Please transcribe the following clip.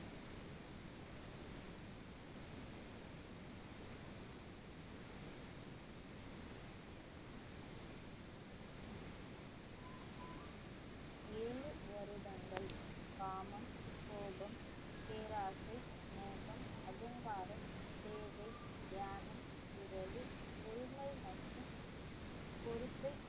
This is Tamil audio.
ஏழு வருடங்கள் காமம், கோபம், பேராசை, மோகம், அகங்காரம், தியானம், உறவு, பொறுமை மற்றும் பொறுப்பை